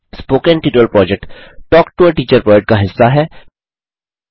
spoken tutorial project talk to a teacher project का हिस्सा है